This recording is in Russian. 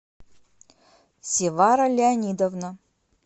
севара леонидовна